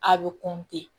A bɛ